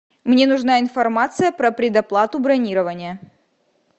мне нужна информация про предоплату бронирования